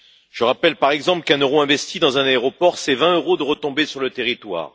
Je rappelle par exemple qu'un euro investi dans un aéroport, c'est 20 euros de retombées sur le territoire.